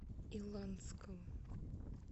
иланского